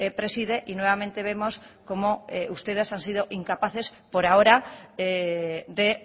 preside y nuevamente vemos cómo ustedes han sido incapaces por ahora de